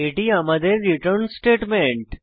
এটি আমাদের return statement